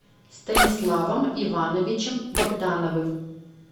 станиславом ивановичем богдановым